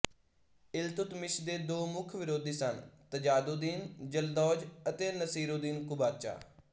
ਇਲਤੁਤਮਿਸ਼ ਦੇ ਦੋ ਮੁੱਖ ਵਿਰੋਧੀ ਸਨ ਤਾਜੁਦਦੀਨ ਯਲਦੌਜ ਅਤੇ ਨਾਸੀਰੁੱਦੀਨ ਕੁਬਾਚਾ